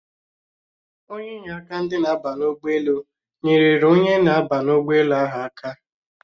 Onye inyeaka ndị na-aba ụgbọelu nyerere onye na-aba ụgbọelu ahụ aka